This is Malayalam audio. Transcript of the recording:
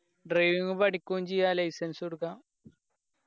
driving പടിക്കും ചെയ്യാം licence ഉം എടുക്കാം